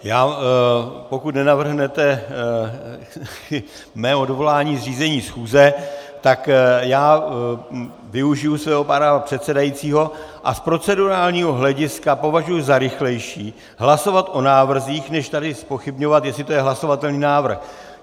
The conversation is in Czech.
Pokud nenavrhnete mé odvolání z řízení schůze, tak já využiji svého práva předsedajícího a z procedurálního hlediska považuji za rychlejší hlasovat o návrzích, než tady zpochybňovat, jestli to je hlasovatelný návrh.